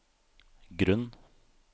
grunn